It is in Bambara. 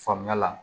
Faamuya la